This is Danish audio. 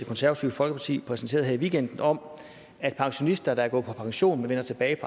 konservative folkeparti præsenterede her i weekenden om at pensionister der er gået på pension men vender tilbage